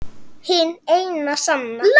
Hin eina sanna